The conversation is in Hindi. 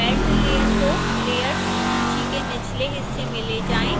belt layer को layers सूची के निचले हिस्से में ले जाएँ